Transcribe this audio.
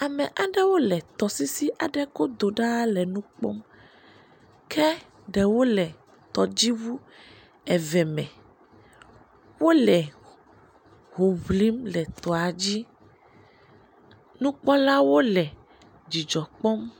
Ame aɖewo le tɔsisi aɖe godo ɖaa le nu kpɔm, ke ɖewo le tɔdziŋu eve me, wole ho ŋlim le etɔa dzi. Nukpɔlawo le dzidzɔ kpɔm.